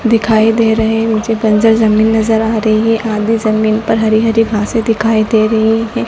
दिखाई दे रहे हैं मुझे बंजर जमीन नजर आ रही है आधे जमीन पर हरि हरि घासे दिखाई दे रही है।